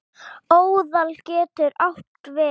Óðal getur átt við